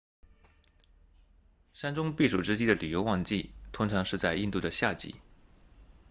山中避暑之地的旅游旺季通常是在印度的夏季